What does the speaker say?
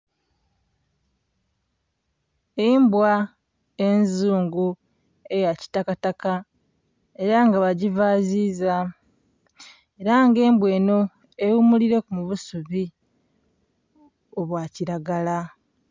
Embwa enzungu eya kitakataka era nga bagiivaziza, era nga embwa enho eghumulileku mu busubi obwa kilagala.